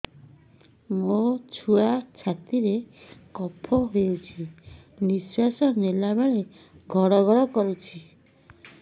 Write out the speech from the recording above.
ମୋ ଛୁଆ ଛାତି ରେ କଫ ହୋଇଛି ନିଶ୍ୱାସ ନେଲା ବେଳେ ଘଡ ଘଡ କରୁଛି